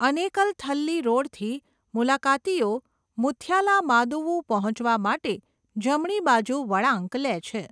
અનેકલ થલ્લી રોડથી, મુલાકાતીઓ મુથ્યાલામાદુવુ પહોંચવા માટે જમણી બાજુ વળાંક લે છે.